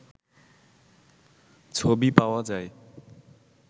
ছবি পাওয়া যায়